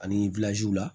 Ani la